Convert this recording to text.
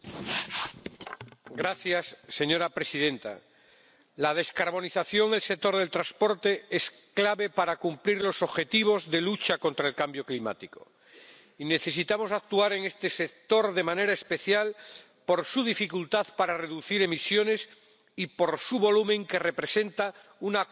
Señora presidenta, la descarbonización del sector del transporte es clave para cumplir los objetivos de lucha contra el cambio climático, y necesitamos actuar en este sector de manera especial por su dificultad para reducir emisiones y por su volumen, que representa una cuarta parte de la Unión Europea.